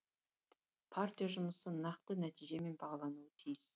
партия жұмысы нақты нәтижемен бағалануы тиіс